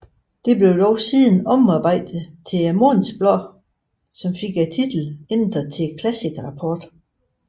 Det blev dog siden omarbejdet til månedsblad og fik titlen ændret til Classic Rapport